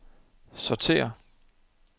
sortér